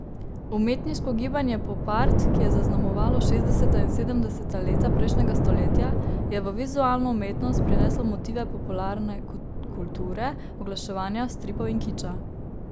Umetniško gibanje popart, ki je zaznamovalo šestdeseta in sedemdeseta leta prejšnjega stoletja, je v vizualno umetnost prineslo motive popularne kulture, oglaševanja, stripov in kiča.